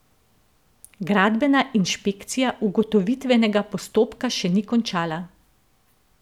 Gradbena inšpekcija ugotovitvenega postopka še ni končala.